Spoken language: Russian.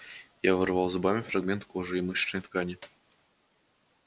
я вырвал зубами фрагмент кожи и мышечной ткани продолжал аркадий